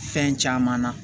Fɛn caman na